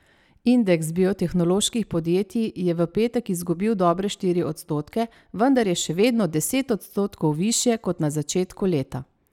Indeks biotehnoloških podjetij je v petek izgubil dobre štiri odstotke, vendar je še vedno deset odstotkov višje kot na začetku leta.